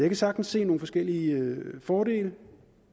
kan sagtens se nogle forskellige fordele